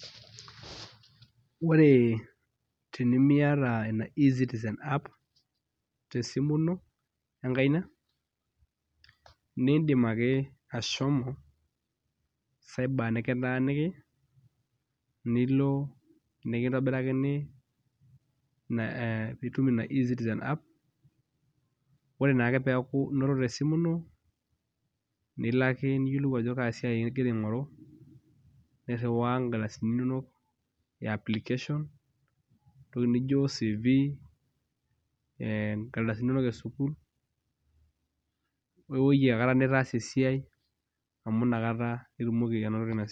Wore tenimiyata ina e citizen app tesimu ino enkaina neindim ake ashomo cyber nikitaaniki nilo nikintobirakini eh piitum ina e citizen app ore naake peeku inoto tesimu ino nilo ake niyiolou ajo kaa siai ingira aing'oru nirriwaa inkardasini e application entoki nijio cv eh inkardasini inonok esukul wewoji akata nitaasa esia amu inakata etumoki.